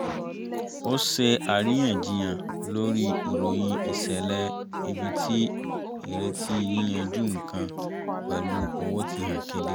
a ṣe àríyànjiyàn lórí ìròyìn ìṣẹ̀lẹ̀ ibi tí ìrètí yíyanjú nǹkan pẹ̀lú owó ti hàn kedere